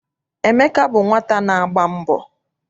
Emeka bụ nwata na-agba mbọ.